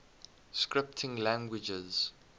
scripting languages